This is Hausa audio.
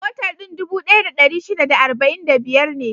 Motar din dubu ɗaya da ɗari shida da arba'in da biyar ne.